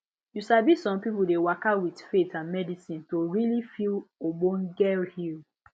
you sabi some people dey waka with faith and medicine to really feel obonge heal